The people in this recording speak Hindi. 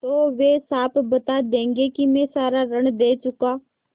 तो वे साफ बता देंगे कि मैं सारा ऋण दे चुका